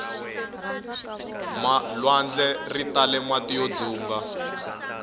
lwandle ritale mati yo dzunga